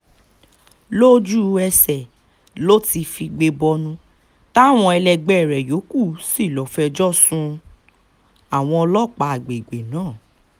lójú-ẹsẹ̀ ló ti figbe bọnu táwọn ẹlẹgbẹ́ rẹ yòókù sì lọ́ọ fẹjọ́ sun àwọn ọlọ́pàá àgbègbè náà